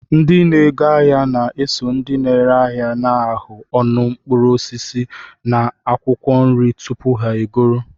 Ndị na-ego ahịa na-eso na ndị ere ahịa na-ahụ ọnụ mkpụrụ osisi na akwụkwọ nri tupu ha egoro.